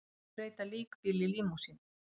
Vill breyta líkbíl í límúsínu